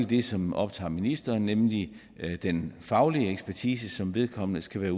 det som optager ministeren nemlig den faglige ekspertise som vedkommende skal være